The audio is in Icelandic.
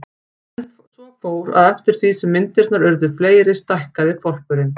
En svo fór, að eftir því sem myndirnar urðu fleiri stækkaði hvolpurinn.